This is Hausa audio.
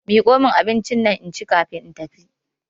Miko min abincinnan inci kafin in tafi.